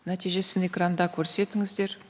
нәтижесін экранда көрсетіңіздер